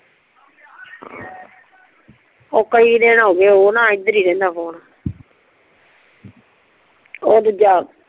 ਓ ਕਈ ਦਿਨ ਹੋ ਗਏ ਓ ਨਾ ਏਦਰ ਹੀ ਰਿਹੰਦਾ ਆ ਫ਼ੋਨ ਓ ਦੂਜਾ